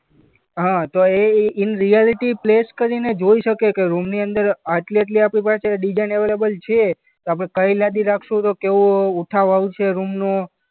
હા તો એ ઈ ઈન રિયાલિટી પ્લેસ કરીને જોઈ શકે કે રૂમની અંદર આટલી-આટલી આપણી પાસે ડિઝાઈન અવેલેબલ છે તો આપણે કઈ લાદી રાખશું તો કેવો ઉઠાવ આવશે રૂમનો.